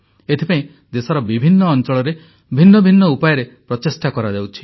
ଏଥିପାଇଁ ଦେଶର ବିଭିନ୍ନ ଅଂଚଳରେ ଭିନ୍ନ ଭିନ୍ନ ଉପାୟରେ ପ୍ରଚେଷ୍ଟା କରାଯାଉଛି